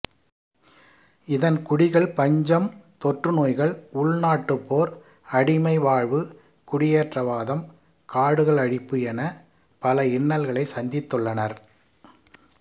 இதன் குடிகள் பஞ்சம் தொற்றுநோய்கள் உள்நாட்டுப் போர் அடிமை வாழ்வு குடியேற்றவாதம் காடுகள் அழிப்பு எனப் பல இன்னல்களை சந்தித்துள்ளனர்